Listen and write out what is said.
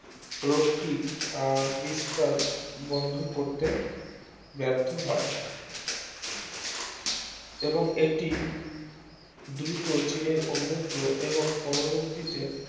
রোগটির বিস্তার বন্ধ করতে ব্যর্থ হয় এবং এটি দ্রুত চীনের অন্যত্র এবং পরবর্তীতে